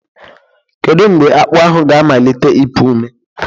Kedu mgbe akpu ahụ ga-amalite ịpụ ome?